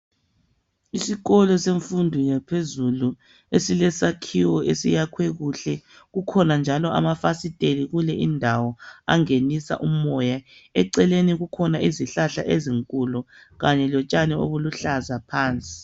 Isikolo esemfundo yaphezulu elesakhiwo esiyakhwe kuhle kukhona njalo amafasiteli kule indawo angenisa umoya eceleni kukhona izihlahla ezinkulu kanye lotshani obuluhlaza phansi.